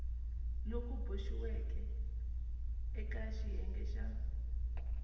loku boxiweke eka xiyenge xa